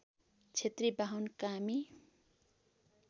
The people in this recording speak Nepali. क्षेत्री बाहुन कामी